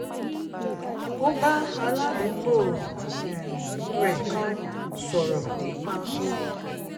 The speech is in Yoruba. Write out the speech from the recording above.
ó bá aládùúgbò um rẹ̀ kan sọ̀rọ̀ nípa ohun